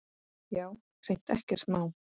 Já, hreint ekkert má.